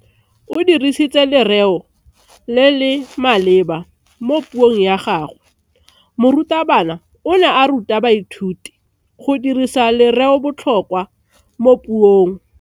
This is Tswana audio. O dirisitse lereo le le maleba mo puong ya gagwe. Morutabana o ne a ruta baithuti go dirisa lereobotlhokwa mo puong.